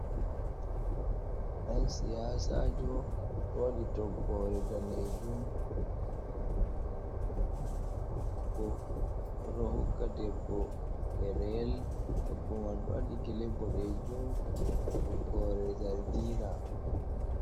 Ɗan siyasajo o waɗi toggore danejum hufneere boɗeejum enanta agogo. Odo hokkka debbo ɗereyel debbo man o wadi gele bodejum be toggore zargina.